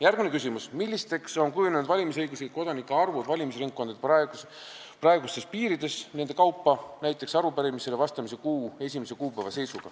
Järgmine küsimus: "Millisteks on kujunenud valimisõiguslike kodanike arvud valimisringkondade kaupa ?